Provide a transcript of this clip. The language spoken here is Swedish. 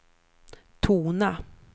tona